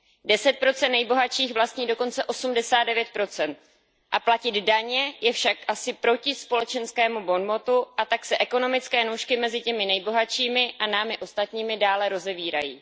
Deset procent nejbohatších vlastní dokonce osmdesát devět procent a platit daně je však asi proti společenskému bonmotu a tak se ekonomické nůžky mezi těmi nejbohatšími a námi ostatními dále rozevírají.